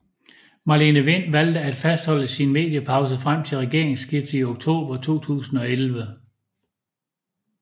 Marlene Wind valgte at fastholde sin mediepause frem til regeringsskiftet i oktober 2011